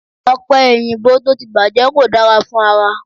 Ọ̀pẹ èyìǹbó tó ti bàjẹ́ kò dára fún ara